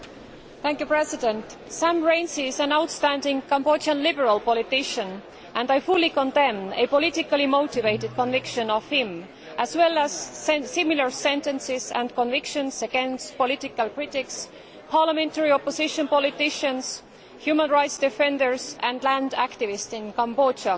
Mr President, Sam Rainsy is an outstanding Cambodian Liberal politician, and I fully condemn a politically motivated conviction of him as well as similar sentences and convictions against political critics, parliamentary opposition politicians, human rights defenders and land activists in Cambodia.